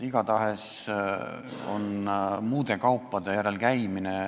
Igatahes käiakse ka muude kaupade järel Lätis.